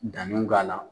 Danniw k'a la